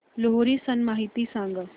लोहरी सण माहिती सांगा